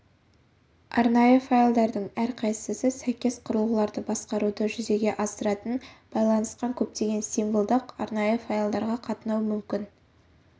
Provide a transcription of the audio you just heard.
арнайы файлдардың әрқайсысы сәйкес құрылғыларды басқаруды жүзеге асыратын байланысқан көптеген символдық арнайы файлдарға қатынау мүмкін